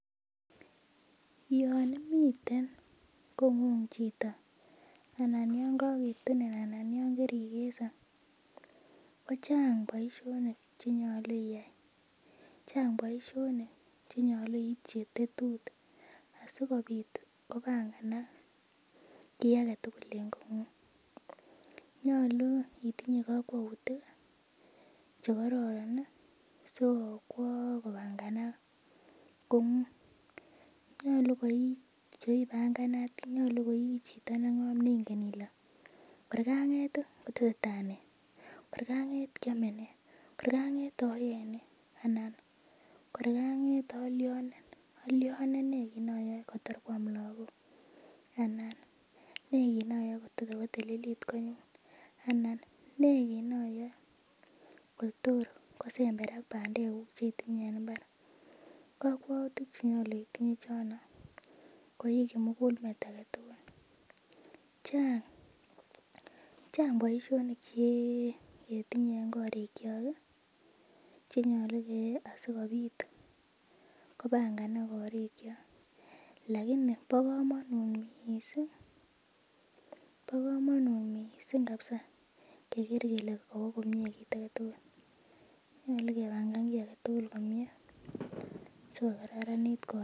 Yoon imiten kong'ung chito anan yoon kokitunin anan yoon korikese kochang boishonik chenyolu iyaii, chang boishonik chenyolu iibji tetutik asikobit kobanganak kii aketukul en kong'ung, nyolu itinye kokwoutik chekororon sikobanganak kong'ung, nyolu ko ibanganat, nyolu ko ichito neng'om neng'en ilee kor kanget kotesetaa nee, kor kanget kiome nee, kor kang'et oyee nee anan kor kang'et olionen, olionen nee kiit noyoe kotor kwam lokok anan ne kiit noyoe kotor kotililit konyun anan nee kiit noyoe kotor kosemberak bandekuk chetinye en imbar, kokwoutik chenyolu iteb chono koii kimukulmet aketukul, chaang boishonik che ketinye en korikiok chenyolu keyai asikobit kobanganak korikiok lakini bo komonut mising kabisaa keker kelee kowoo komie kiit aketukul, nyolu kebangan kii aketukul komie siko kararanit koot.